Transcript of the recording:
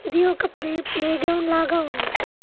ఇది ఒక ప్రే ప్లే గ్రౌండ్ లాగా ఉన్నది.